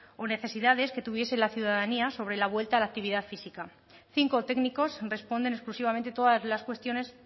o necesidades que tuviese la ciudadanía sobre la vuelta a la actividad física cinco técnicos responden exclusivamente todas las cuestiones